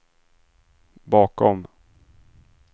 bakom